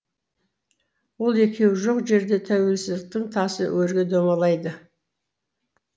ол екеуі жоқ жерде тәуелсіздіктің тасы өрге домалайды